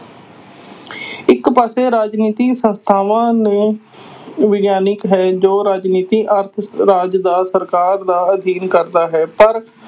ਇਕ ਪਾਸੇ ਰਾਜਨੀਤੀ ਸੰਸਥਾਵਾਂ ਨੇ ਵਿਗਿਆਨਕ ਹੈ ਜੋ ਰਾਜਨੀਤੀ ਅਰਥ ਰਾਜ ਜਾਂ ਸਰਕਾਰ ਦਾ ਅਧਿਐਨ ਕਰਦਾ ਹੈ ਪਰ